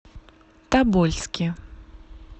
тобольске